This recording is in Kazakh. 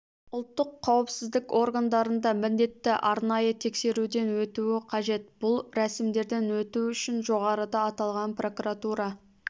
ұлттық қауіпсіздік органдарында міндетті арнайы тексеруден өтуі қажет бұл рәсімдерден өту үшін жоғарыда аталған прокуратура